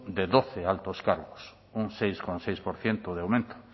de doce altos cargos un seis coma seis por ciento de aumento